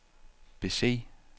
bese